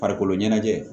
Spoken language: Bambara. Farikolo ɲɛnajɛ